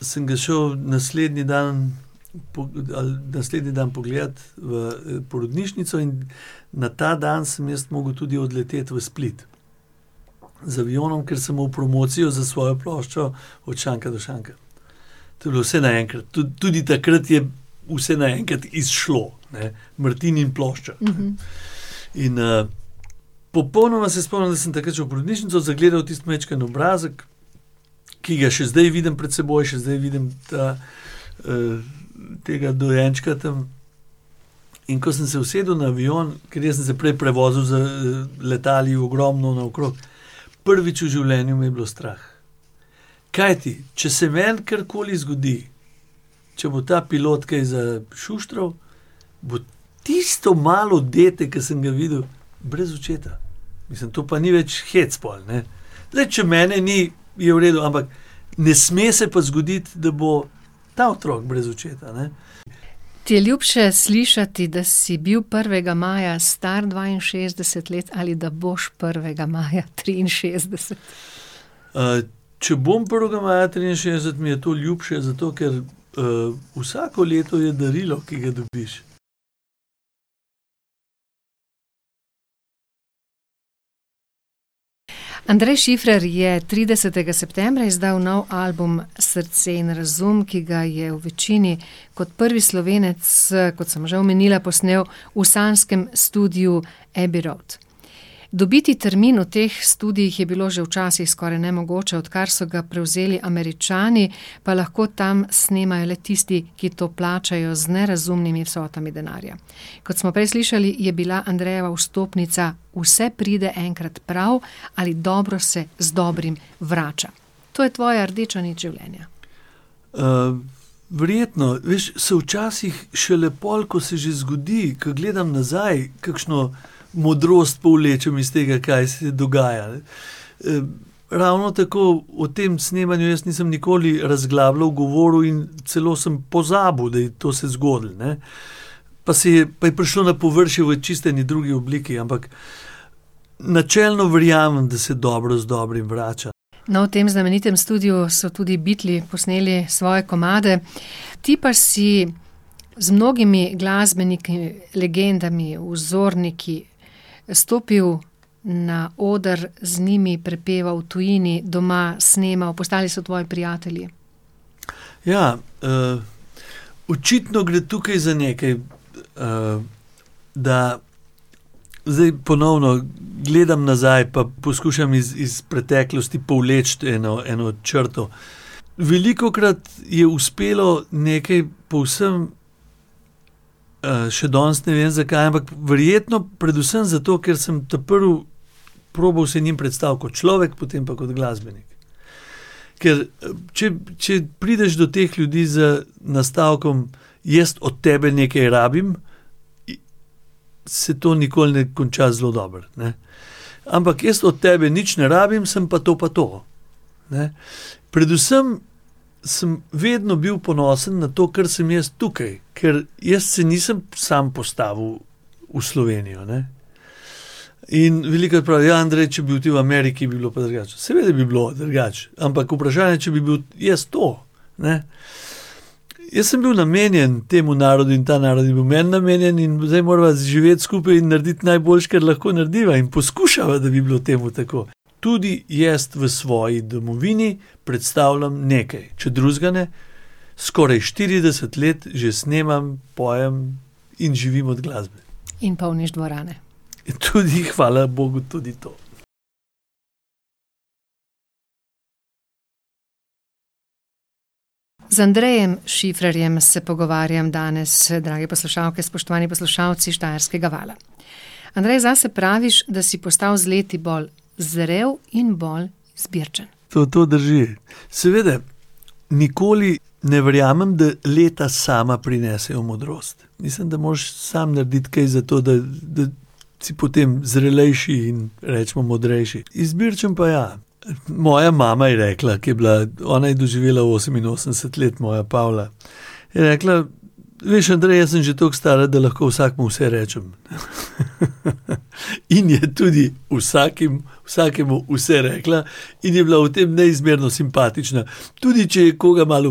sem ga šel naslednji dan ali naslednji dan pogledat v porodnišnico in na ta dan sem jaz mogel tudi odleteti v Split z avionom, ker sem imel promocijo za svojo ploščo Od šanka do šanka. To je bilo vse naenkrat. tudi takrat je vse naenkrat izšlo, ne. Martin in plošča. In, popolnoma se spomnim, da sem takrat šel v porodnišnico, zagledal tisti majčken obrazek, ki ga še zdaj vidim pred seboj, še zdaj vidim ta, tega dojenčka tam. In ko sem se usedel na avion, ker jaz sem se prej prevozu z letali ogromno naokrog, prvič v življenju me je bilo strah. Kajti če se meni karkoli zgodi, če bo ta pilot kaj zašuštral, bo tisto malo dete, ki sem ga videl, brez očeta. Mislim, to pa ni več hec pol, ne. Glej, če mene ni, je v redu, ampak ne sme se pa zgoditi, da bo ta otrok brez očeta, ne. Ti je ljubše slišati, da si bil prvega maja star dvainšestdeset let ali da boš prvega maja triinšestdeset? če bom prvega maja triinšestdeset, mi je to ljubše, zato ker, vsako leto je darilo, ki ga dobiš. Andrej Šifrer je tridesetega septembra izdal nov album Srce in razum, ki ga je v večini kot prvi Slovenec, kot sem že omenila, posnel v sanjskem studiu Abbey Road. Dobiti termin v teh studiih je bilo že včasih skoraj nemogoče, odkar so ga prevzeli Američani, pa lahko tam snemajo le tisti, ki to plačajo z nerazumnimi vsotami denarja. Kot smo prej slišali, je bila Andrejeva vstopnica vse pride enkrat prav ali dobro se z dobrim vrača. To je tvoja rdeča nit življenja. verjetno. Veš, se včasih šele pol, ko se že zgodi, ko gledam nazaj, kakšno modrost povlečem iz tega, kaj se je dogajalo. ravno tako o tem snemanju jaz nisem nikoli razglabljal, govoril in celo sem pozabil, da je to se zgodilo, ne. Pa se pa je prišlo na površje v čisto eni drugi obliki, ampak načelno verjamem, da se dobro z dobrim vrača. No, v tem znamenitem studiu so tudi Beatli posneli svoje komade. Ti pa si z mnogimi glasbeniki, legendami, vzorniki stopil na oder, z njimi prepeval v tujini, doma, snemal, postali so tvoji prijatelji. Ja, očitno gre tukaj za nekaj, da zdaj ponovno gledam nazaj pa poskušam iz, iz preteklosti povleči eno, eno črto. Velikokrat je uspelo nekaj povsem, še danes ne vem, zakaj, ampak verjetno predvsem zato, ker sem ta prvi probal se njim predstaviti kot človek, potem pa kot glasbenik. Ker, če, če prideš do teh ljudi z nastavkom: "Jaz od tebe nekaj rabim." Se to nikoli ne konča zelo dobro, ne. Ampak jaz od tebe nič ne rabim, sem pa to pa to, ne. Predvsem sem vedno bil ponosen na to, kar sem jaz tukaj, ker jaz se nisem samo postavil v Slovenijo, ne. In velikokrat pravijo: "Ja, Andrej, če bi bil ti v Ameriki, bi bilo pa drugače." Seveda bi bilo drugače, ampak vprašanje, če bi bil jaz to, ne. Jaz sem bil namenjen temu narodu in ta narod je bil meni namenjen in zdaj morava živeti skupaj in narediti najboljše, kar lahko naredila, in poskušava, da bi bilo temu tako. Tudi jaz v svoji domovini predstavljam nekaj. Če drugega ne, skoraj štirideset let že snemam, pojem in živim od glasbe. In polniš dvorane. Tudi hvala bogu, tudi to. Z Andrejem Šifrerjem se pogovarjam danes, drage poslušalke, spoštovani poslušalci Štajerskega vala. Andrej, zase praviš, da si postal z leti bolj zrel in bolj izbirčen. To, to drži. Seveda. Nikoli ne verjamem, da leta sama prinesejo modrost. Mislim, da moraš sam narediti kaj za to, da, da si potem zrelejši in recimo modrejši. Izbirčen pa ja, moja mama je rekla, ko je bila, on je doživela oseminosemdeset let, moja Pavla. Je rekla: "Veš, Andrej, jaz sem že toliko stara, da lahko vsakemu vse rečem." In je tudi vsakim, vsakemu vse rekla. In je bila v tem neizmerno simpatična. Tudi če je koga malo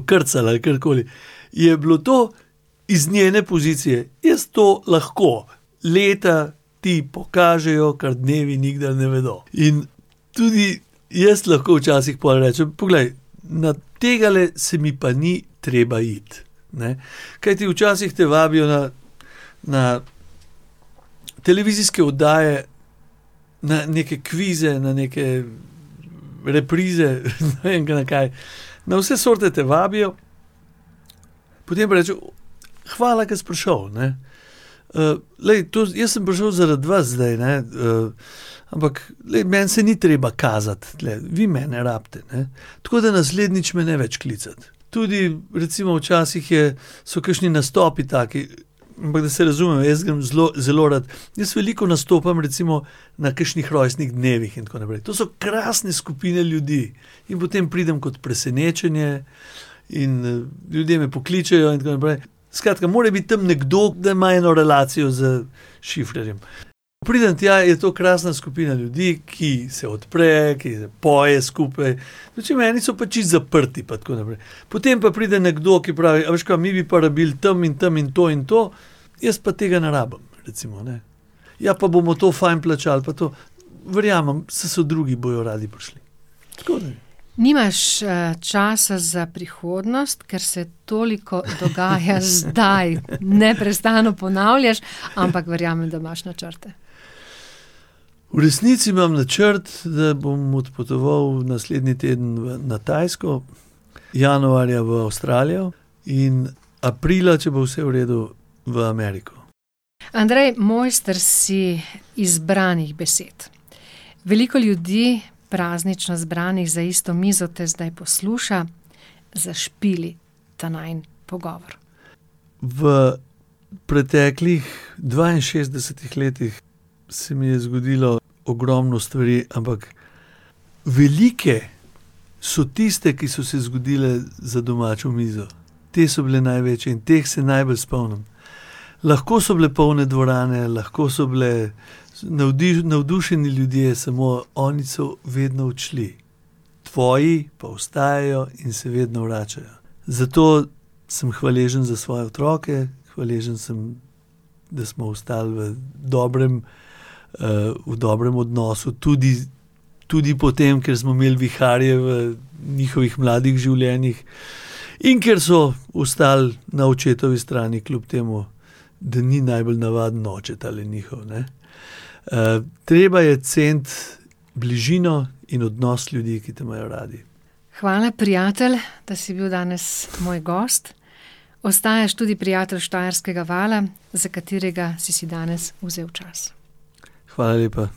okrcala ali karkoli, je bilo to iz njene pozicije. Jaz to lahko. Leta ti pokažejo, kar dnevi nikdar ne vedo. In tudi jaz lahko včasih pol rečem: "Poglej, tegale se mi pa ni treba iti, ne." Kajti včasih te vabijo na, na televizijske oddaje, na neke kvize, na neke reprize, ne vem, na kaj. Na vse sorte te vabijo. Potem pa rečejo: "Hvala, ke si prišel, ne." glej, to, jaz sem prišel zaradi vas zdaj, ne, ampak, glej, meni se ni treba kazati tule. Vi mene rabite, ne. Tako da naslednjič me ne več klicati. Tudi recimo včasih je, so kakšni nastopi taki. Ampak da se razumemo, jaz grem zelo, zelo rad. Jaz veliko nastopam recimo na kakšnih rojstnih dnevih in tako naprej. To so krasne skupine ljudi. In potem pridem kot presenečenje in, ljudje me pokličejo in tako naprej. Skratka, mora biti tam nekdo, da ima eno relacijo z Šifrerjem. Pridem tja, je to krasna skupina ljudi, ki se odpre, ki zapoje skupaj. Dočim eni so pa čisto zaprti pa tako naprej. Potem pa pride nekdo, ki pravi: "A veš kaj, mi bi pa rabili tam in tam in to in to." "Jaz pa tega ne rabim." Recimo, ne. "Ja, pa bomo to fajn plačali, pa to." "Verjamem, saj so drugi, bojo radi prišli." Tako, ne. Nimaš, časa za prihodnost, ker se toliko dogaja zdaj, neprestano ponavljaš. Ampak verjamem, da imaš načrte. V resnici imam načrt, da bom odpotoval naslednji teden na Tajsko, januarja v Avstralijo in aprila, če bo vse v redu, v Ameriko. Andrej, mojster si izbranih besed. Veliko ljudi, praznično zbranih za isto mizo, te zdaj posluša. Zašpili ta najin pogovor. V preteklih dvainšestdesetih letih se mi je zgodilo ogromno stvari, ampak velike so tiste, ki so se zgodile za domačo mizo. Te so bile največje in teh se najbolj spomnim. Lahko so bile polne dvorane, lahko so bili navdušeni ljudje, samo oni so vedno odšli. Tvoji pa ostajajo in se vedno vračajo. Zato sem hvaležni za svoje otroke, hvaležen sem, da smo ostali v dobrem, v dobrem odnosu tudi, tudi po tem, ker smo imeli viharje v njihovih mladih življenjih, in ker so ostali na očetovi strani, kljub temu da ni najbolj navaden oče, tale njihov, ne. treba je ceniti bližino in odnos ljudi, ki te imajo radi. Hvala, prijatelj, da si bil danes moj gost. Ostajaš tudi prijatelj Štajerskega vala, za katerega si si danes vzel čas. Hvala lepa.